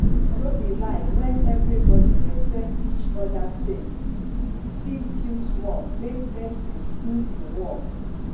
no be lie when everybody respect each other faith fit chill small make medicine do im work